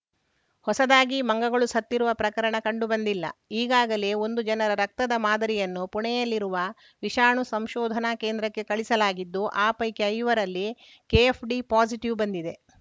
ಹೊಸದಾಗಿ ಮಂಗಗಳು ಸತ್ತಿರುವ ಪ್ರಕರಣ ಕಂಡುಬಂದಿಲ್ಲ ಈಗಾಗಲೇ ಒಂದು ಜನರ ರಕ್ತದ ಮಾದರಿಯನ್ನು ಪುಣೆಯಲ್ಲಿರುವ ವಿಷಾಣು ಸಂಶೋಧನಾ ಕೇಂದ್ರಕ್ಕೆ ಕಳಿಸಲಾಗಿದ್ದು ಆ ಪೈಕಿ ಐವರಲ್ಲಿ ಕೆಎಫ್‌ಡಿ ಪಾಸಿಟಿವ್‌ ಬಂದಿದೆ